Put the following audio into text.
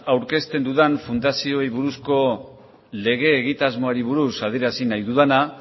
aurkezten dudan fundazioei buruzko lege egitasmoari buruz adierazi nahi dudana